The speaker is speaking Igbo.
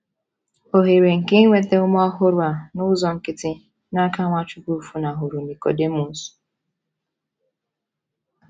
Ohere nke inweta ume ọhụrụ a n’ụzọ nkịtị n’aka Nwachukwu funahụrụ Nikọdimọs!